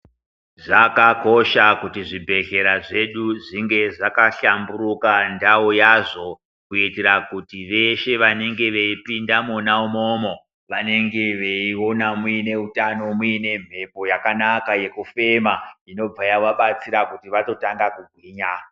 Zvakakosha kuti zvibhedhlera zvedu zvinge zvakahlamburuka ndau yazvo kuitira kuti veshe vanenge veipinda mwona imomo vanonga veiona muine uthano muine mhepo yakanaka yekufema inobva yavabatsira kuti vatotanga kugwinya.